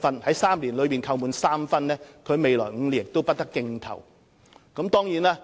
在3年內被扣滿3分的承辦商，將於未來5年不得競投政府服務合約。